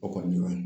O kɔni